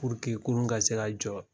kurun ka se ka jɔ